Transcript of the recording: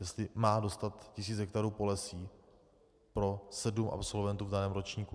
Jestli má dostat tisíc hektarů polesí pro sedm absolventů v daném ročníku.